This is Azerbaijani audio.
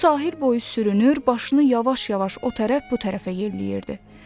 O sahil boyu sürünür, başını yavaş-yavaş o tərəf bu tərəfə yelləyirdi.